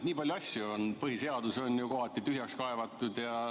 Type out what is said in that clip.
Nii palju asju on, põhiseadus on ju kohati tühjaks kaevatud.